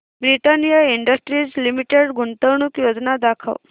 Britannia industries limited गुंतवणूक योजना दाखव